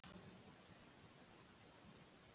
Þetta er ekki draumabyrjun.